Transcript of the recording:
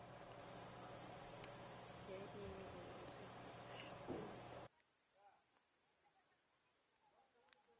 la in orentshe la botlhokatiro